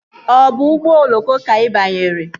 Ọ bụ ụgbọ oloko ka ị banyere?